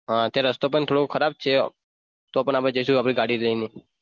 હા ત્યાં રસ્તો પણ થોડો ખરાબ છે તો પણ આપણે જઈશું આપણી ગાડી લઈને.